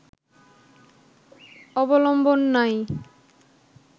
অবলম্বন নাই